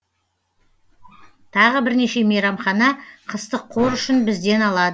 тағы бірнеше мейрамхана қыстық қор үшін бізден алады